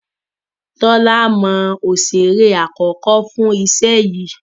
Tola mọ Osere àkókò fún iṣẹ yí.